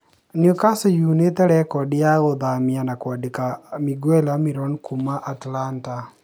Newscastle nĩunĩte rekordi ya kũthamia na kwandĩka Miguel Almiron kuuma Atlanta